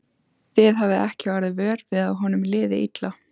Þið hafið ekki orðið vör við að honum liði illa?